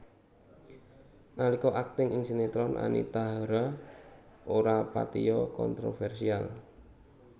Nalika akting ing sinetron Anita Hara ora patiya kontroversial